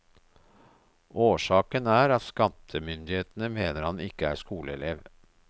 Årsaken er at skattemyndighetene mener han ikke er skoleelev.